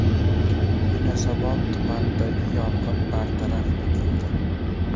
Yunusobod tumanidagi yong‘in bartaraf etildi.